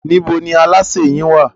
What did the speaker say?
Níbo ní alásè yín wà?